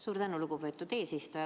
Suur tänu, lugupeetud eesistuja!